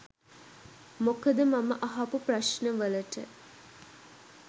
මොකද මම අහපු ප්‍රශ්නවලට